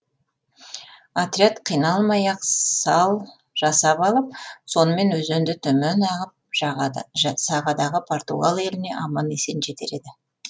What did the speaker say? отряд қиналмай ақ сал жасап алып сонымен өзенді төмен ағып сағадағы португал еліне аман есен жетер еді